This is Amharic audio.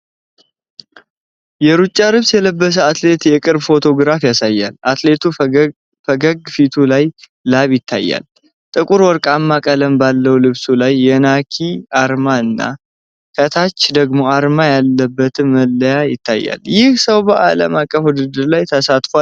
የሩጫ ልብስ የለበሰ አትሌት የቅርብ ፎቶግራፍ ያሳያል። አትሌቱ ፈገግ ፊቱ ላይ ላብ ይታያል። ጥቁር ወርቃማ ቀለም ባለው ልብሱ ላይ የናይኪ አርማ እና ከታች ደግሞ አርማ ያለበት መለያ ይታያል። ይህ ሰው በዓለም አቀፍ ውድድር ላይ ተሳትፏልን?